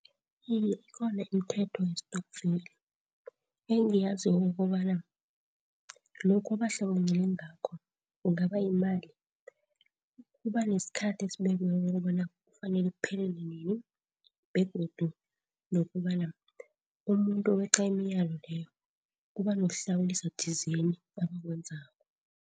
Iye, ikhona imithetho ye-stokvel engiyaziko ukobana lokhu abahlanganyele ngakho, kungaba yimali kubanesikhathi esibekiweko ukobana kufanele kuphelele nini. Begodu nokobana umuntu uweqa imiyalo leyo kuba nokuhlawuliswa thizeni abakwenzako.